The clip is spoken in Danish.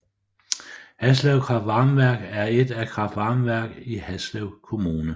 Haslev kraftvarmeværk er et kraftvarmeværk i Haslev Kommune